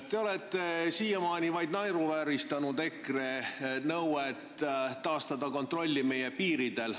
Te olete siiamaani naeruvääristanud EKRE nõuet taastada kontroll meie piiridel.